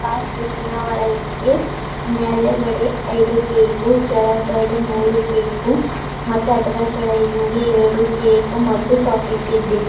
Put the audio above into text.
ಆ ಫ್ರಿಡ್ಜ್ಯಿ ನ ಒಳಗೆ ಮ್ಯಾಲಗಡೆ ಐದು ಕೇಕು ಕೆಳಗಡೆ ಮೂರು ಕೇಕು ಮತ್ತೆ ಅದರ ಕೆಳಗೆ ಇಂಗೆ ಎರಡು ಕೇಕು ಮತ್ತು ಚಾಕೊಲೇಟಿ ಇದೆ.